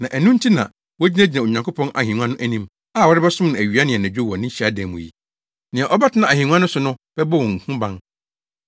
Na ɛno nti na, “wogyinagyina Onyankopɔn ahengua anim a wɔresom awia ne anadwo wɔ ne hyiadan mu yi. Nea ɔbɛtena ahengua no so no bɛbɔ wɔn ho ban.